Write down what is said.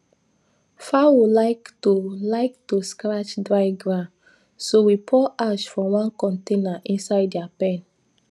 fowl like to like to scratch dry ground so we pour ash for one corner inside their pen